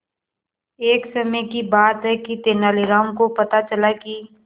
एक समय की बात है कि तेनालीराम को पता चला कि